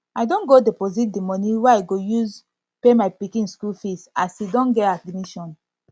i don go deposit the money wey i go use pay my pikin school fees as he don get admission